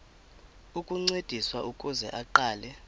ukuncediswa ukuze aqale